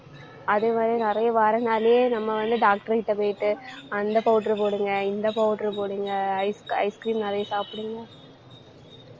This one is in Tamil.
அதே மாதிரி நிறைய வரனாலயே நம்ம வந்து doctor கிட்ட போயிட்டு அந்த powder அ போடுங்க. இந்த powder அ போடுங்க. ice ice cream நிறைய சாப்பிடுங்க